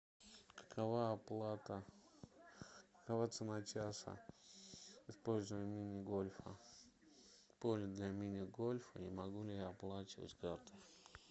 какова оплата какова цена часа использования мини гольфа поля для мини гольфа и могу ли я оплачивать картой